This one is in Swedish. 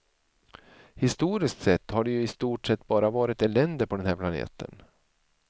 Historiskt sett har det ju i stort sett bara varit elände på den här planeten.